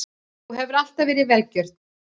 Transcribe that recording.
Þú hefur alltaf verið vergjörn.